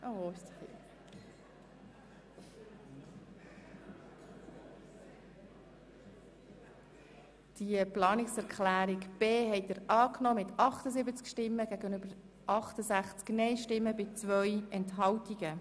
Sie haben den Buchstaben b der Planungserklärung 3 angenommen mit 78 Ja- gegenüber 68 Nein-Stimmen bei 2 Enthaltungen.